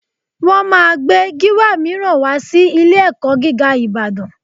Wọ́n máa gbé Gíwá mìíràn wá sí ilé-ẹ̀kọ́ gíga Ìbàdàn